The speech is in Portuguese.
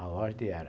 A ordem era...